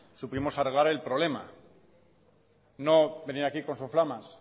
supimos arreglar el problema no venir aquí con soflamas